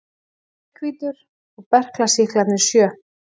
Mjallhvítur og berklasýklarnir sjö.